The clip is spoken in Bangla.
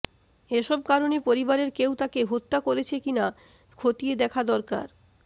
এসব কারণে পরিবারের কেউ তাকে হত্যা করেছে কি না খতিয়ে দেখা দরকার